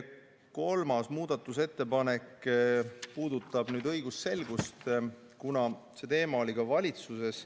Kolmas muudatusettepanek puudutab õigusselgust, kuna see teema oli ka valitsuses.